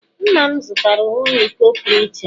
nna m zụtara onwe ya iko pụrụ iche.